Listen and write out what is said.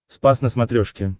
спас на смотрешке